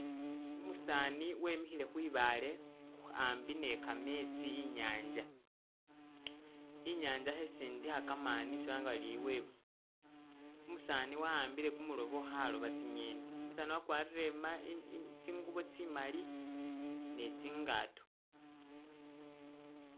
Umusaani wemihile khwibaale ambi ne kametsi inyanja, inyanja khesindikha kamani isi balanga bari e'wave, umusaani wa'ambile kumulobo khaloba tsi'ngeni, umusaani wakwalire ima eeh tsingubo tsi'mali ne tsingato